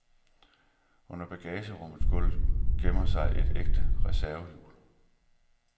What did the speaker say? Under bagagerummet gulv gemmer sig et ægte reservehjul.